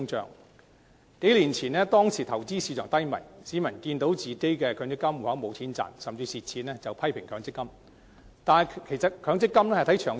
在數年前投資市場低迷時，市民眼見強積金戶口沒有錢賺甚至虧蝕，便批評強積金。